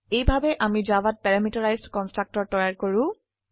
এইভাবে আমি জাভাত প্যাৰামিটাৰাইজড কন্সট্ৰকটৰ তৈয়াৰ কৰো